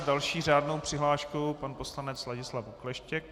S další řádnou přihláškou pan poslanec Ladislav Okleštěk.